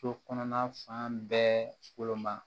So kɔnɔna fan bɛɛ woloma